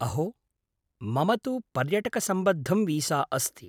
अहो! मम तु पर्यटकसम्बद्धं वीसा अस्ति।